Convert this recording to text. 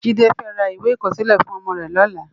Jide fè rá iwé ikòsilè fún òmò rè lòlá